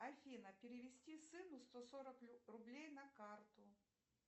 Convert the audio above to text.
афина перевести сыну сто сорок рублей на карту